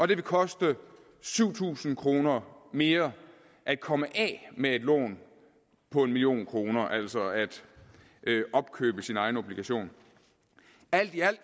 det vil koste syv tusind kroner mere at komme af med et lån på en million kroner altså at opkøbe sin egen obligation alt i alt